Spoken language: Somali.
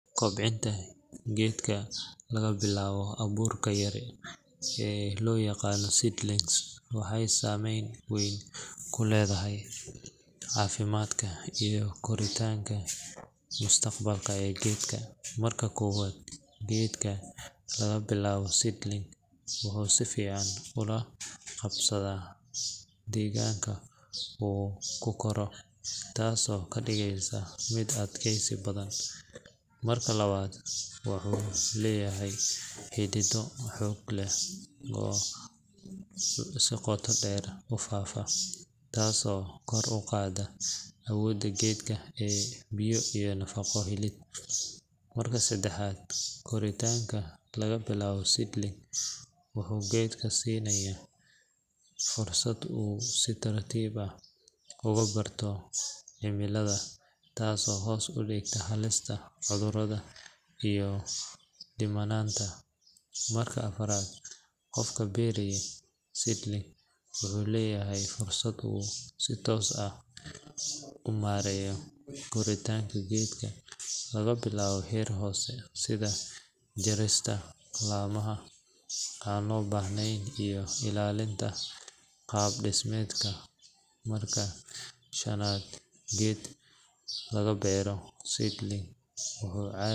Kobcinta geedka laga bilaabo abuurka yar ee loo yaqaan seedling waxay saameyn weyn ku leedahay caafimaadka iyo koritaanka mustaqbalka ee geedka. Marka koowaad, geedka laga bilaabay seedling wuxuu si fiican ula qabsadaa deegaanka uu ku koro, taasoo ka dhigaysa mid adkaysi badan. Marka labaad, wuxuu leeyahay xidido xoog leh oo si qoto dheer u faafa, taasoo kor u qaadda awoodda geedka ee biyo iyo nafaqo helid. Marka saddexaad, koritaanka laga bilaabay seedling wuxuu geedka siinayaa fursad uu si tartiib ah ugu barto cimilada, taasoo hoos u dhigta halista cudurrada iyo dhimanaanta. Marka afraad, qofka beera seedling wuxuu leeyahay fursad uu si toos ah u maareeyo koritaanka geedka laga bilaabo heer hoose, sida jarista laamaha aan loo baahnayn iyo ilaalinta qaab dhismeedka. Marka shanaad, geed laga beero seedling wuxuu.